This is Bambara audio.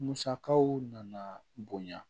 Musakaw nana bonya